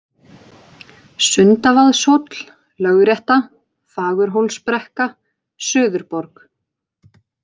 Sundavaðshóll, Lögrétta, Fagurhólsbrekka, Suðurborg